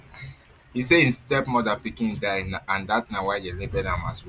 e say im stepmother pikin die and dat na why dem label am as witch